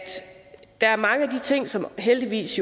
der er mange af de ting som jo heldigvis